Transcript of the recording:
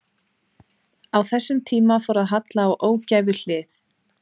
Á þessum tíma fór að halla á ógæfuhlið.